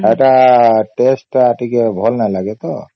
ହେଟା taste ତ ଟିକେ ଭଲ ନାଇଁ ଲାଗେ ତ